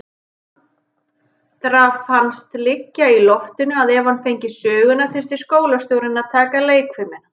Andra fannst liggja í loftinu að ef hann fengi söguna þyrfti skólastjórinn að taka leikfimina.